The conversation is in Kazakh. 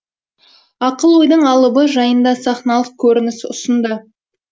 ақыл ойдың алыбы жайында сахналық көрініс ұсынды